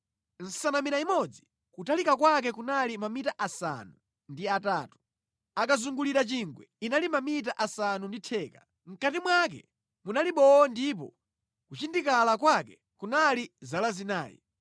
Nsanamira imodzi kutalika kwake kunali mamita asanu ndi atatu, akazunguliza chingwe inali mamita asanu ndi theka; mʼkati mwake munali bowo ndipo kuchindikala kwake kunali zala zinayi.